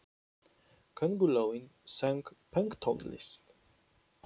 Köngulóin söng pönktónlist!